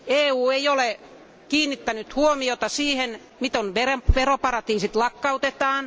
EU ei ole kiinnittänyt huomiota siihen, miten veroparatiisit lakkautetaan.